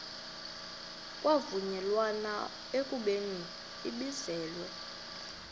kwavunyelwana ekubeni ibizelwe